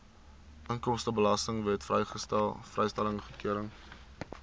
inkomstebelastingwet vrystelling goedgekeur